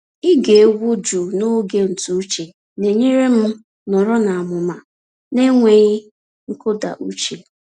Ịge egwu jụụ n’oge ntụ uche na-enyere m nọrọ n’amụma n’enweghị nkụda uche.